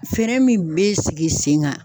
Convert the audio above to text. Fɛɛrɛ min bɛ sigi sen kan.